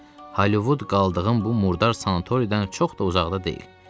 Holivud qaldığım bu murdar sanatoriyadan çox da uzaqda deyil.